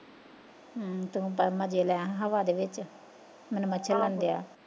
ਅਮ ਤੂੰ ਤ ਮਜ਼ੇ ਲੈ ਹਵਾ ਦੇ ਵਿੱਚ ਮੈਂਨੂੰ ਮੱਛਰ ਲੜਨ ਡਿਆ